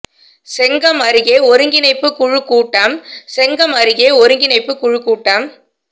செங்கம் அருகே ஒருங்கிணைப்புக் குழு கூட்டம் செங்கம் அருகே ஒருங்கிணைப்புக் குழு கூட்டம்